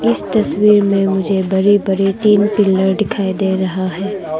इस तस्वीर में मुझे बड़ी बड़ी तीन पिलर दिखाई दे रहा है।